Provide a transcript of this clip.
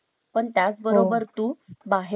बाहे सुद्धा CCTV camera बसव .